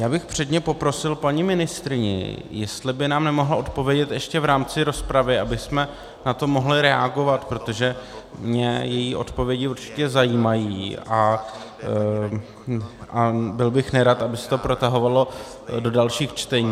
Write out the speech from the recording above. Já bych předně poprosil paní ministryni, jestli by nám nemohla odpovědět ještě v rámci rozpravy, abychom na to mohli reagovat, protože mě její odpovědi určitě zajímají a byl bych nerad, aby se to protahovalo do dalších čtení.